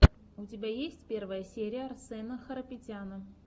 у тебя есть первая серия арсэна харапетяна